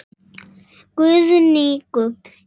Guðný: Gull?